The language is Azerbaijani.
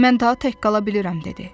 Mən daha tək qala bilirəm dedi.